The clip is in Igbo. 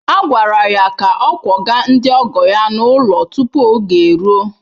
A gwara ya ka ọ kwọga ndị ọgọ ya n’ụlọ tupu oge eruo!